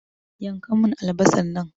Yanka mun albasar nan!